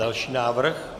Další návrh.